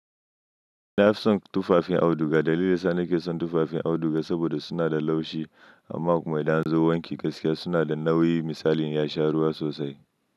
Nafi son tufafin auduga. Dalilin da nake son tufafin auduga saboda suna da laushi amma kuma idan an zo wanki gaskiya suna da nauyi misali ya sha ruwa sosai.